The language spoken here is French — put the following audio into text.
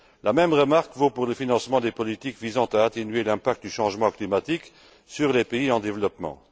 La même remarque vaut pour le financement des politiques visant à atténuer l'impact du changement climatique sur les pays en développement.